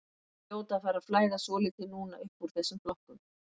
Þeir hljóta að fara að flæða svolítið núna uppúr þessum flokkum.